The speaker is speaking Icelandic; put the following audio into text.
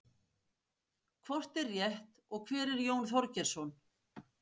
hvort er rétt og hver er jón þorgeirsson